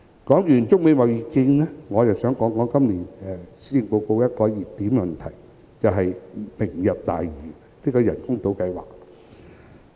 談完中美貿易戰，我想談談今年施政報告的討論熱點——"明日大嶼"人工島計劃。